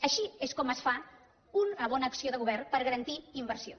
així és com es fa una bona acció de govern per garantir inversió